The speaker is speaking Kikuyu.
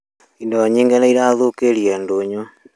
Indo nyingĩ nĩ irathũkiĩre ndũnyũ